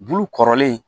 Bulu kɔrɔlen